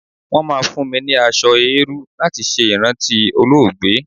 Wọ́n máa fún mi ní aṣọ eérú láti ṣe ìrántí olóògbé.